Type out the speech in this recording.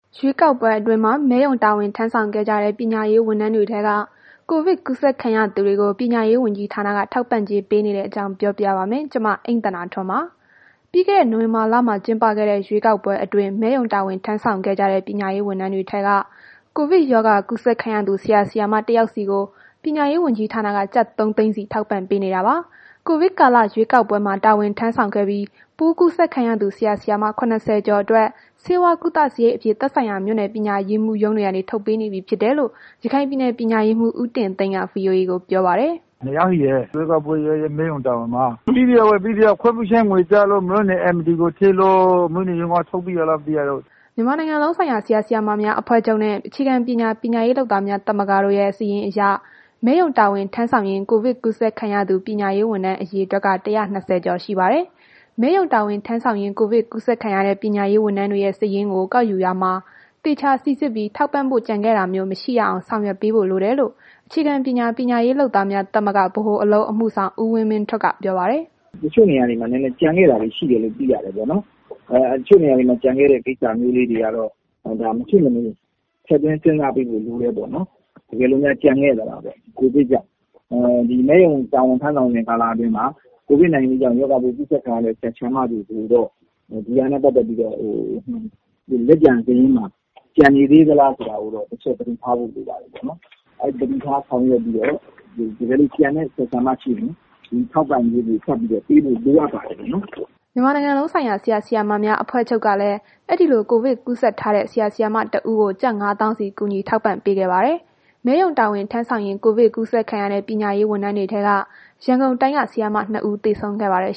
ရွေးကောက်ပွဲအတွင်း မဲရုံမှာတာဝန်ထမ်းဆောင်ခဲ့ကြတဲ့ ပညာရေးဝန်ထမ်းတွေထဲက ကိုဗစ် ကူးစက်ခံရသူတွေကို ပညာရေးဝန်ကြီးဌာနက ထောက်ပံ့ကြေးပေးနေတဲ့အကြောင်း ဗွီအိုအေမြန်မာပိုင်းသတင်းထောက် အိမ့်သန္တာထွန်း တင်ပြထားပါတယ်။ ပြီးခဲ့တဲ့ နိုဝင်ဘာလမှာကျင်းခဲ့တဲ့ ရွေးကောက်ပွဲအတွင်း မဲရုံတာဝန်ထမ်းဆောင်ခဲ့ကြတဲ့ ပညာရေး ဝန်ထမ်းတွေထဲက ကိုဗစ်ရောဂါ ကူးစက်ခံရသူ ဆရာ ဆရာမ တစ်ယောက်စီကို ပညာရေးဝန်ကြီးဌာနက ကျပ်သုံးသိန်းစီ ထောက်ပံ့ပေးနေတာပါ။ ကိုဗစ်ကာလ ရွေးကောက်ပွဲမှာ တာဝန်ထမ်းဆောင်ခဲ့ပြီး ပိုးကူးစက်ခံရသူဆရာဆရာမ ၇၀ ကျော်အတွက် ဆေးဝါးကုသစရိတ်အဖြစ် သက်ဆိုင်ရာမြို့နယ် ပညာရေးမှုးရုံးတွေကနေ ထုတ်ပေးနေပြီဖြစ်တယ်လို့ ရခိုင်ပြည်နယ် ပညာရေးမှုး ဦးတင်သိန်းက VOA ကိုပြောပါတယ်။ “နှစ်ယောက်ရှိတယ်။ ရွေးကောက်ပွဲ မဲရုံတာဝန်မှာ(ကိုဗစ်ကူးစက်ခံရသူ)။ ပေးပြီးပြီ၊ ခွင့်ပြုချက်ငွေကျလို့ မြို့နယ်ရုံးကို ပေးလိုက်ပြီးတော့ မြို့နယ်ရုံးကတစ်ဆင့် ထုတ်ပြီးပြီ။” မြန်မာနိုင်ငံလုံးဆိုင်ရာ ဆရာဆရာမများအဖွဲ့ချုပ်နဲ့ အခြေခံပညာ ပညာရေးလုပ်သားများ သမဂ္ဂတို့ရဲ့ စာရင်းအရ မဲရုံတာဝန်ထမ်းဆောင်ရင်း ကိုဗစ် ကူးစက်ခံရသူ ပညာရေးဝန်ထမ်း အရေအတွက်က ၁၂၀ ကျော်ရှိပါတယ်။ မဲရုံတာဝန်ထမ်းဆောင်ရင် ကိုဗစ်ကူးစက်ခံရတဲ့ ပညာရေးဝန်ထမ်းတွေရဲ့ စာရင်းကို ကောက်ယူရာမှာ သေချာ စိစစ်ပြီး ထောက်ပံ့ဖို့ ကျန်ခဲ့တာမျိုးမရှိရအောင် ဆောင်ရွက်ပေးဖို့လိုတယ်လို့ အခြေခံပညာ ပညာရေးလုပ်သားများ သမဂ္ဂ ဗဟိုအလုပ်အမှုဆောင် ဦးဝင်းမင်းထွဋ်က ပြောပါတယ်။ “တချို့နေရာတွေမှာ နည်းနည်း ကျန်ခဲ့တာမျိုးတွေရှိတယ်လို့ သိရတယ်ပေါ့နှော်။ ကျန်ခဲ့တဲ့ ကိစ္စလေးတွေကတော့ မဖြစ်မနေ ထည့်သွင်းစဉ်းစားပေးဖို့လိုတယ်ပေါ့နှော်။ တကယ်လို့များကျန်ခဲ့သလားပေါ့။ ကိုဗစ်ကြောင့် ဒီမဲရုံတာဝန်ထမ်းဆောင်စဉ်ကာလအတွင်းမှာ ကိုဗစ်ကူးစက်ခံရတဲ့ ဆရာဆရာမတွေကိုတော့ ဒီဟာနဲ့ ပတ်သက်ပြီးတော့ လက်ကျန်စာရင်းမှာ ကျန်နေသေးသလားဆိုတာ ကိုတော့ တစ်ချက်သတိထားဖို့လိုပါတယ်။ သတိထားဆောင်ရွက်ပြီးတော့ တကယ်လို့ ကျန်တဲ့ ဆရာဆရာမ ရှိရင် ထောက်ပံ့ကြေးတွေ ထပ်ပြီးတော့ ပေးဖို့လိုအပ်ပါတယ်။” မြန်မာနိုင်ငံလုံးဆိုင်ရာ ဆရာဆရာမများအဖွဲ့ချုပ်ကလည်း အဲဒီလို ကိုဗစ်ကူးစက်ထားတဲ့ ဆရာ ဆရာမ တစ်ဦးကို ကျပ် ၅ သောင်းစီ ကူညီထောက်ပံ့ပေးခဲ့ပါတယ်။ မဲရုံတာဝန်ထမ်းဆောင်ရင်း ကိုဗစ်ကူးစက်ခံရတဲ့ ပညာရေးဝန်ထမ်းတွေထဲက ရန်ကုန်တိုင်းမှာ ဆရာမနှစ်ဦး သေဆုံးခဲ့ပါတယ်